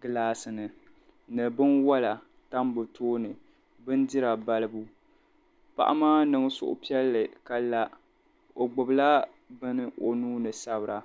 gilaasini ni binwala tambi tooni bindira balibu o paɣa niŋ suhupiɛlli o gbubila be o nuuni sabira